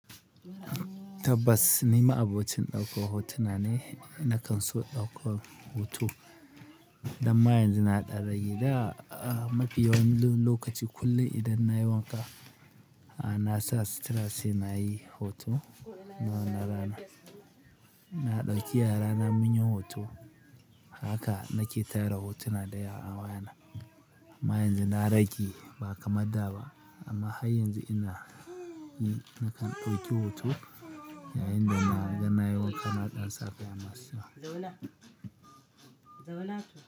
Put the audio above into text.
Tabbas, ni ma'abocin ɗaukar hotuna ne. Nakan so in ɗauka hoto. Dan ma yanzu na ɗan rage da mafi yawan lokaci kullum idan na yi wanka, na sa sutura sai nayi hoto. Na wannan rana, na ɗauki yara na munyi hoto. Haka nake tayar hotuna daya a wayana. Amma yanzu na da rage ba kamar da ba. Amma har yanzu ina, na nake ɗauki hoto yayin da na ga na yi wanka na ɗan sa kaya masu. Zauna, zauna to.